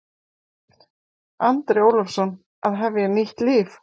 Andri Ólafsson: Að hefja nýtt líf?